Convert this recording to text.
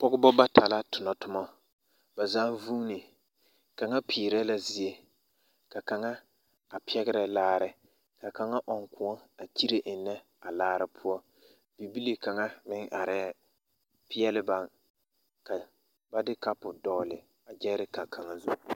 Pɔɡebɔ bata la tonɔ toma ba zaa vuune kaŋa peerɛ la zie ka kaŋa a pɛɡerɛ laare ka kaŋa ɔŋ kõɔ a kyire ennɛ a laare poɔ bibile kaŋa meŋ arɛɛ peɛle ba ka ba de kapo dɔɔle ɡyɛɛreka kaŋa zu.